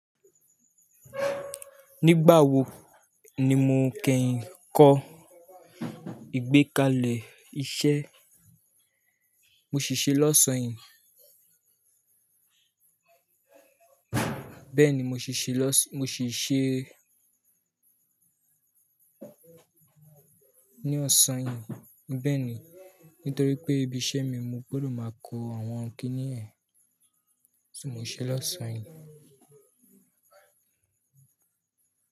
Nígbà wo ni mo kẹyin kọ́ ìgbékalẹ̀ iṣẹ́ mo ṣì ṣe lọ́sàn-án yìí? Bẹ́ẹ̀ni, mo ṣì ṣe lọ́sàn-án, mo sì ṣe ní ọ̀sán yìí. Bẹ́ẹ̀ni, nítorí pé ibi iṣẹ́ mi mo gbọdọ̀ máa kó àwọn kíní ẹ̀, so mo ṣe lọ́sàn-án yìí.